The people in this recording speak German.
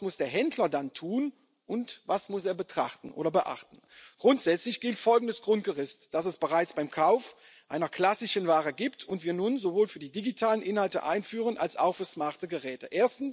was muss der Händler dann tun, und was muss er betrachten oder beachten? Grundsätzlich gilt folgendes Grundgerüst, das es bereits beim Kauf einer klassischen Ware gibt und das wir nun sowohl für die digitalen Inhalte einführen als auch für smarte Geräte.